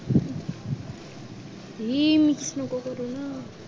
हे mix नको करू